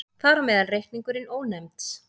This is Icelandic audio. Þar á meðal reikningurinn Ónefnds.